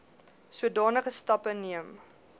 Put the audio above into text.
sodanige stappe neem